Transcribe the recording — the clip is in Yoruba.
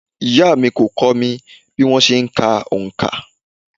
Ìyá à mí kó mi bí wọ́n se n ka onkà